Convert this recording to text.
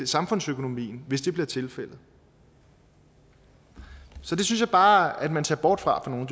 samfundsøkonomien hvis det bliver tilfældet det synes jeg bare man ser bort fra i nogle